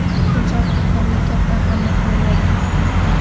Inson huquqlariga katta ahamiyat beriladi.